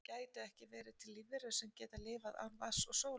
gætu ekki verið til lífverur sem geta lifað án vatns og sólar